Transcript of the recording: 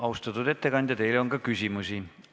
Austatud ettekandja, teile on ka küsimusi.